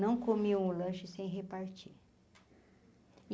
Não comiam o lanche sem repartir.